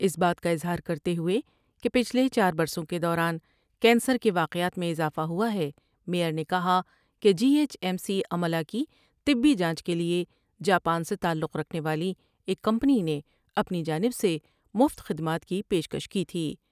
اس بات کا اظہار کرتے ہوۓ کہ پچھلے چار برسوں کے دوران کینسر کے واقعات میں اضافہ ہوا ہے میئر نے کہا کہ جی ایچ ای سی عملہ کی طبی جانچ کیلئے جاپان سے تعلق رکھنے والی ایک کمپنی نے اپنی جانب سے مفت خدمات کی پیش کش کی تھی ۔